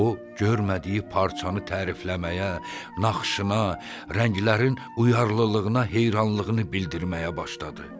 O, görmədiyi parçanı tərifləməyə, naxışına, rənglərin uyarlılığına heyranlığını bildirməyə başladı.